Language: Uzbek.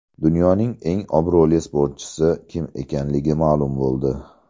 Dunyoning eng obro‘li sportchisi kim ekanligi ma’lum bo‘ldi.